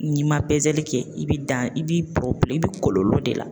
N'i ma pezeli kɛ i bi dan i b'i i bi kɔlɔlɔ de la